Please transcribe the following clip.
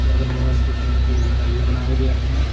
अगल बगल छोटे मोटे घर भी बनाए गए हैं।